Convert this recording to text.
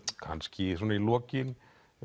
kannski svona í lokin